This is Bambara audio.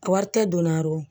Wari tɛ don na yɔrɔ